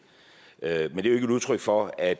er jo ikke et udtryk for at